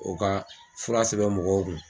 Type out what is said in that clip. O ka fura sɛbɛ mɔgɔw kun.